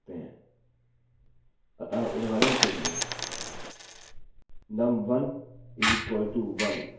आप इन ऑपरेटर्स का उपयोग करके वेरिएबल्स की भी तुलना कर सकते हैं अतः उदहारण के लिए num1=1